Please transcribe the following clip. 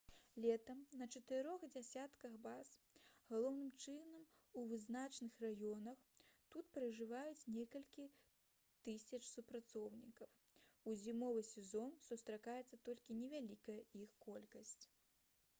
летам на чатырох дзесятках баз галоўным чынам у вызначаных раёнах тут пражываюць некалькі тысяч супрацоўнікаў у зімовы сезон застаецца толькі невялікая іх колькасць